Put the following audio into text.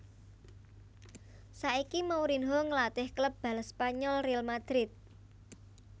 Saiki Mourinho ngelatih klub bal Spanyol Real Madrid